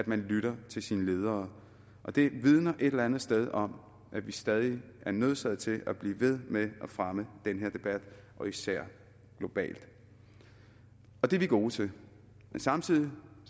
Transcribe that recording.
man lytter til sine ledere det vidner et eller andet sted om at vi stadig er nødsaget til at blive ved med at fremme den her debat især globalt og det er vi gode til men samtidig